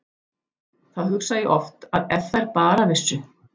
Þá hugsa ég oft að ef þær bara vissu.